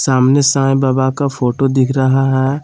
सामने साईं बाबा का फोटो दिख रहा है।